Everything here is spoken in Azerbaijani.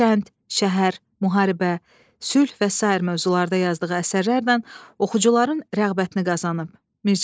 Kənd, şəhər, müharibə, sülh və sair mövzularda yazdığı əsərlərlə oxucuların rəğbətini qazanıb Mir Cəlal.